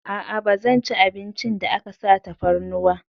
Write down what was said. A'a, ba zan ci abincin da aka sa tafarnuwa.